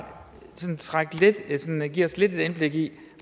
give os et lille indblik i